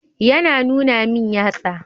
Ya na nuna min yatsa.